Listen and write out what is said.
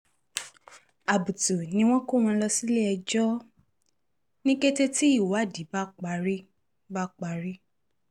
àbùtù ni wọn yóò kó wọn lọ sílé-ẹjọ́ ní kété tí ìwádìí bá parí bá parí